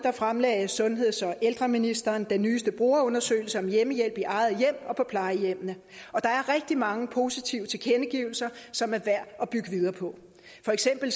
fremlagde sundheds og ældreministeren den nyeste brugerundersøgelse om hjemmehjælp i eget hjem og på plejehjemmene og der er rigtig mange positive tilkendegivelser som er værd at bygge videre på for eksempel